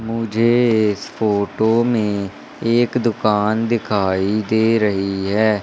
मुझे इस फोटो में एक दुकान दिखाई दे रही है।